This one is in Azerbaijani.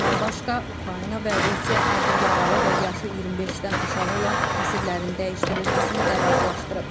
Bundan başqa, Ukrayna və Rusiya ağır yaralı və yaşı 25-dən aşağı olan əsirlərin dəyişdirilməsini də razılaşdırıb.